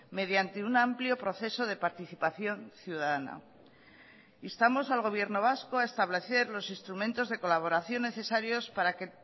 mediante un amplio proceso de participación ciudadana instamos al gobierno vasco a establecer los instrumentos de colaboración necesarios para que